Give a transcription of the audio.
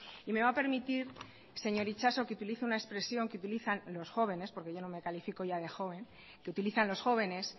y me va a permitir señor itxaso que utilice una expresión que utilizan los jóvenes porque yo no me califico ya de joven que utilizan los jóvenes